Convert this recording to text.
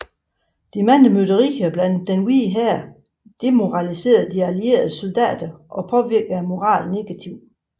De mange mytterier blandt Den Hvide Hær demoraliserede De Allieredes soldater og påvirkede moralen negativt